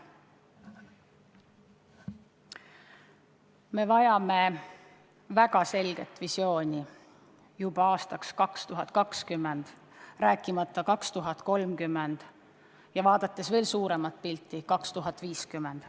Me vajame väga selget visiooni juba aastaks 2020, rääkimata aastast 2030 ja silmas pidades veel suuremat pilti – aastat 2050.